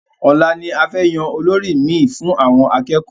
Ọ̀la ni a fẹ́ yan olórí mi fún àwọn akẹ́kọ̀ọ́